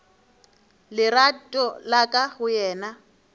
lerato la ka go yena